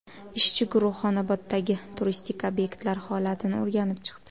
Ishchi guruh Xonoboddagi turistik obyektlar holatini o‘rganib chiqdi.